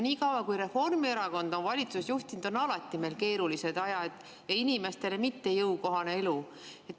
Nii kaua, kui Reformierakond on valitsust juhtinud, on meil alati olnud keerulised ajad ja inimestele mittejõukohane elu.